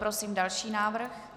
Prosím další návrh.